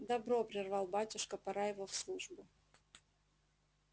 добро прервал батюшка пора его в службу